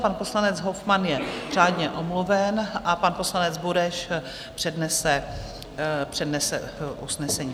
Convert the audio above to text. Pan poslanec Hofmann je řádně omluven a pan poslanec Bureš přednese usnesení.